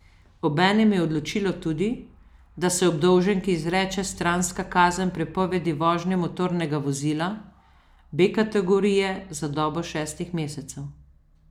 Obenem je odločilo tudi, da se obdolženki izreče stranska kazen prepovedi vožnje motornega vozila B kategorije za dobo šestih mesecev.